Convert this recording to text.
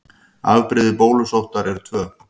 Afbrigði bólusóttar eru tvö.